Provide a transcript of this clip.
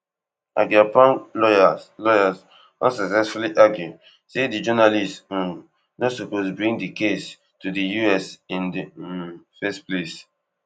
agyapong lawyers lawyers unsuccessfully argue say di journalist um no suppose bring di case to di US in di um first place